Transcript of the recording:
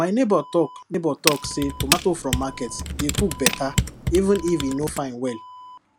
my neighbour talk neighbour talk say tomato from market dey cook better even if e no fine well